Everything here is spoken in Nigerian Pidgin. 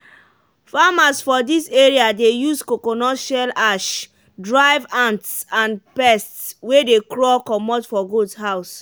farmers for this area dey use coconut shell ash drive ants and pests wey dey crawl comot from goat house.